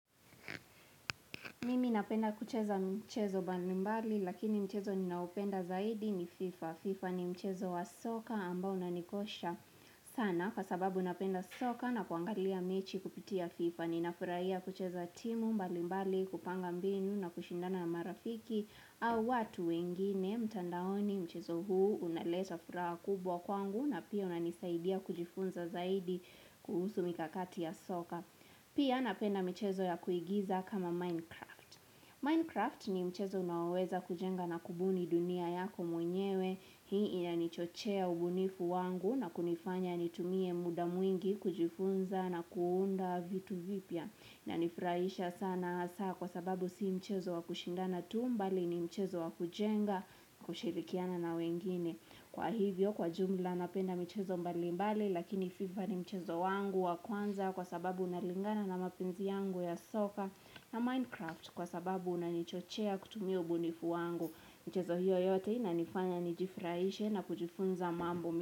Mimi napenda kucheza mchezo mbalimbali lakini mchezo ninaoupenda zaidi ni FIFA. FIFA ni mchezo wa soka ambao na unanikosha sana. Kwa sababu napenda soka na kuangalia mechi kupitia FIFA, ninafurahia kucheza timu mbalimbali kupanga mbinu na kushindana marafiki au watu wengine mtandaoni mchezo huu unaleta furaha kubwa kwangu na pia unanisaidia kujifunza zaidi kuhusu mikakati ya soka. Pia napenda michezo ya kuigiza kama Minecraft. Minecraft ni mchezo unaoweza kujenga na kubuni dunia yako mwenyewe. Hii inanichochea ubunifu wangu na kunifanya nitumie muda mwingi kujifunza na kuunda vitu vipya. Unanifurahisha sana hasa kwa sababu si mchezo wa kushindana tu mbali ni mchezo wa kujenga na kushirikiana na wengine. Kwa hivyo kwa jumla napenda mchezo mbalimbali lakini FIFA ni mchezo wangu wa kwanza kwa sababu unalingana na mapenzi yangu ya soka na Minecraft kwa sababu unanichochea kutumia ubunifu wangu. Michezo hiyo yote inanifanya nijifuraishe na kujifunza mambo.